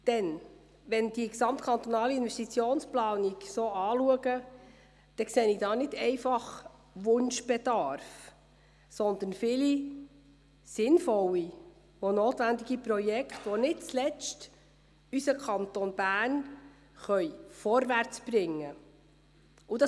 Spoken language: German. Denn wenn ich die gesamtkantonale Investitionsplanung betrachte, sehe ich nicht einfach Wunschbedarf, sondern viele sinnvolle und notwendige Projekte, die nicht zuletzt unseren Kanton Bern vorwärtsbringen können.